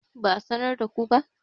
ba a sanar da ku ba?